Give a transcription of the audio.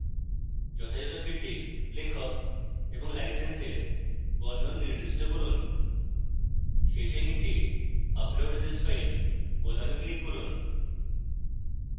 যথাযত ফীল্ডে লেখক এবং license বর্ণন নির্দিষ্ট করুন